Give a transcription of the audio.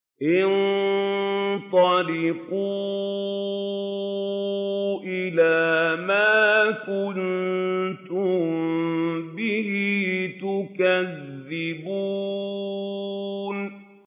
انطَلِقُوا إِلَىٰ مَا كُنتُم بِهِ تُكَذِّبُونَ